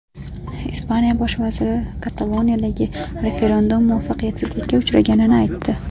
Ispaniya bosh vaziri Kataloniyadagi referendum muvaffaqiyatsizlikka uchraganini aytdi.